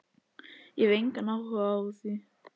Ég hef engan áhuga á því.